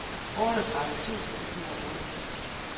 otteogtredive tusind et hundrede og otteogtres